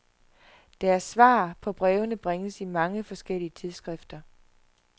Deres svar på brevene bringes i mange forskellige tidsskrifter.